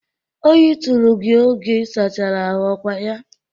Oyi tụrụ gị oge isachara ahụ ọ kwa ya?